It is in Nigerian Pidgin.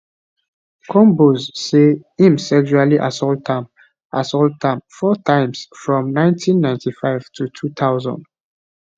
combs say im sexually assault am assault am four times from 1995 to 2000